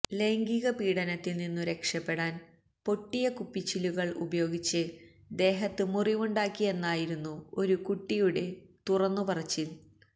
ലൈംഗിക പീഡനത്തില്നിന്നു രക്ഷപ്പെടാന് പൊട്ടിയ കുപ്പിച്ചില്ലുകള് ഉപയോഗിച്ച് ദേഹത്ത് മുറിവുണ്ടാക്കിയെന്നായിരുന്നു ഒരു കുട്ടിയുടെ തുറന്നു പറച്ചില്